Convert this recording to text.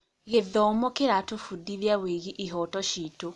Gĩthomo kĩratũbundithia wĩgiĩ ihooto citũ.